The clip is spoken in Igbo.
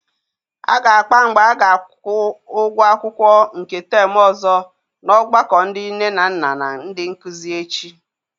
A ga-akpa mgbe a ga-akwụ ụgwọ akwụkwọ nke temu ọzọ n'ọgbakọ ndị nne na nna na ndị nkụzi echi.